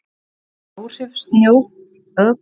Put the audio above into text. áhrif sjóflóða og hækkaðrar sjávarstöðu í hafnarfirði